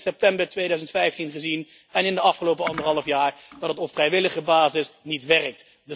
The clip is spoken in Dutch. Maar we hebben in september 2015 en in de afgelopen anderhalf jaar gezien dat het op vrijwillige basis niet werkt.